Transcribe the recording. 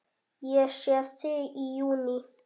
Ég sé þig í júní.